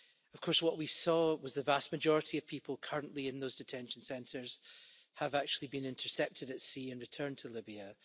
Of course, what we saw was that the vast majority of people currently in those detention centres have actually been intercepted at sea and returned to Libya.